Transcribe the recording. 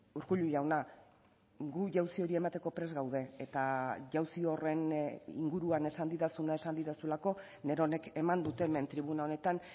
urkullu jauna gu jauzi hori emateko prest gaude eta jauzi horren inguruan esan didazuna esan didazulako neronek eman dut hemen tribuna honetan